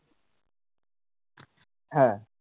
হ্যাঁ